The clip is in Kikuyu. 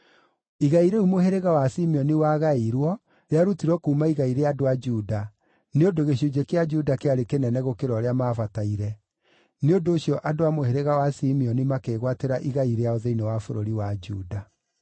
Igai rĩu mũhĩrĩga wa Simeoni wagaĩirwo rĩarutirwo kuuma igai rĩa andũ a Juda, nĩ ũndũ gĩcunjĩ kĩa Juda kĩarĩ kĩnene gũkĩra ũrĩa maabataire. Nĩ ũndũ ũcio andũ a mũhĩrĩga wa Simeoni makĩĩgwatĩra igai rĩao thĩinĩ wa bũrũri wa Juda.